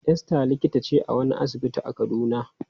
Esther likita ce a wani asibiti a Kaduna.